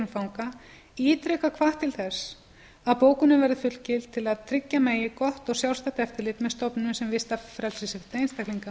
fanga ítrekað hvatt til þess að bókunin verði fullgild til að tryggja megi gott og sjálfstætt eftirlit með stofnunum sem vista frelsissvipta einstaklinga